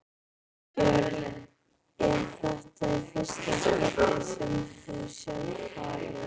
Björn: Er þetta í fyrsta skipti sem þú sérð hvali?